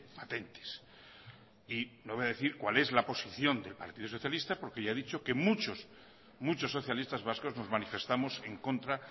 patentes y no voy a decir cuál es la posición del partido socialista porque ya he dicho que muchos muchos socialistas vascos nos manifestamos en contra